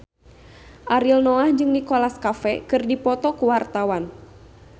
Ariel Noah jeung Nicholas Cafe keur dipoto ku wartawan